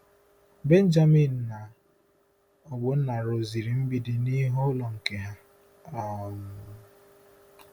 Benjamin na Ogbonna rụziri mgbidi n'ihu ụlọ nke ha. um